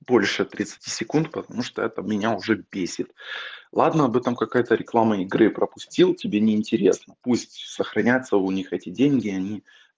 больше тридцати секунд потому что это меня уже бесит ладно бы там какая-то реклама игры пропустил тебе неинтересно пусть сохранятся у них эти деньги они